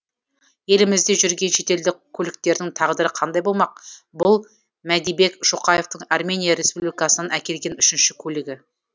елімізде жүрген шетелдік көліктердің тағдыры қандай болмақ бұл мәдибек шоқаевтың армения республикасынан әкелген үшінші көлігі